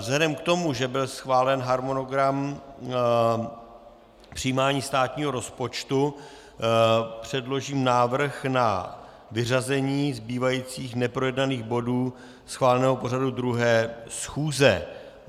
Vzhledem k tomu, že byl schválen harmonogram přijímání státního rozpočtu, předložím návrh na vyřazení zbývajících neprojednaných bodů schváleného pořadu druhé schůze.